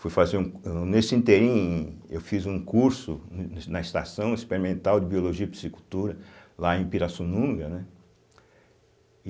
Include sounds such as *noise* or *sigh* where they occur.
Fui fazer um cu *unintelligible* eu fiz um curso na Estação Experimental de Biologia e Psicultura, lá em Pirassununga, né? e